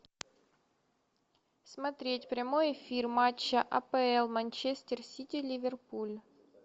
смотреть прямой эфир матча апл манчестер сити ливерпуль